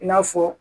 I n'a fɔ